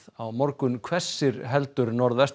á morgun hvessir heldur